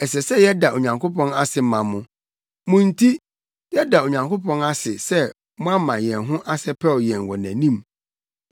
Ɛsɛ sɛ yɛda Onyankopɔn ase ma mo. Mo nti, yɛda Onyankopɔn ase sɛ moama yɛn ho asɛpɛw yɛn wɔ nʼanim.